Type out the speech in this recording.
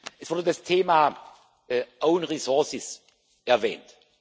Es wurde das Thema own resources erwähnt.